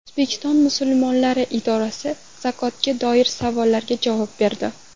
O‘zbekiston musulmonlari idorasi zakotga doir savollarga javob berdi.